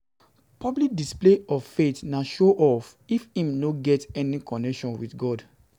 Public display of faith na show off if im no get any connection with God